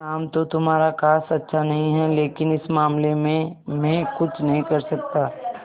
नाम तो तुम्हारा खास अच्छा नहीं है लेकिन इस मामले में मैं कुछ नहीं कर सकता